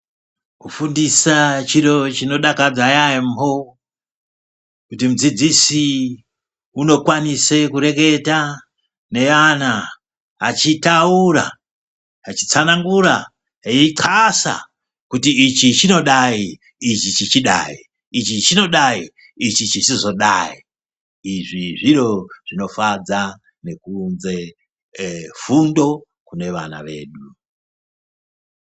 Kufundisa chiro chinodakadza yambo kuti mudzidzisi unokwanisa kureketa nevana achitaura achitsanangura achixasa kuti ichi chinodai ichi chizodai izvi zviro zvinofadza nekuunza fundo kune vana vedu